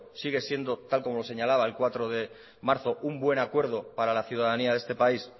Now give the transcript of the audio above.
sigue siendo tal y como lo señalaba el cuatro de marzo un buen acuerdo para la ciudadanía de este país